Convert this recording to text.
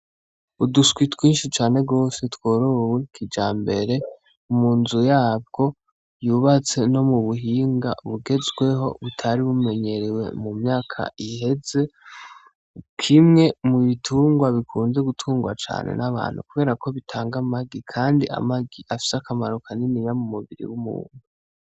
Uduswi twinshi cane gose tworowe kijambere, mu nzu yabwo yubatse no mu buhinga bugezweho, butari bumenyerewe mu myaka iheze, kimwe mu bitungwa bikunze gutungwa cane n'abantu kubera ko bitanga amagi kandi amagi afise akamaro kaniniya mu mubiri w'umuntu.